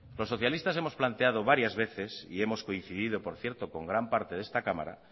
los socialistas hemos planteado varias veces y hemos coincidido por cierto con gran parte de esta cámara